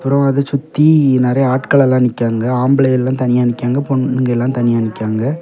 அப்புறம் அதைச் சுத்தி நெறய ஆட்கள் எல்லாம் நிக்காங்க ஆம்பளைங்க எல்லாம் தனியா நிக்காங்க பொண்ணுங்க எல்லாம் தனியா நிக்கிகாங்க.